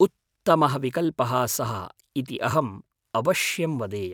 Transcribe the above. उत्तमः विकल्पः सः इति अहम् अवश्यं वदेयम्।